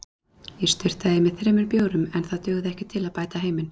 Ég sturtaði í mig þremur bjórum en það dugði ekki til að bæta heiminn.